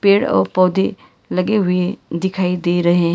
पेड़ और पौधे लगे हुए दिखाई दे रहे--